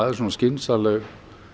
er svona skynsamleg